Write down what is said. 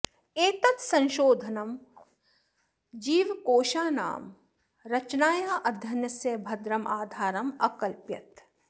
एतत् संशोधनं जीवकोशानां रचनायाः अध्ययनस्य भद्रम् आधारम् अकल्पयत्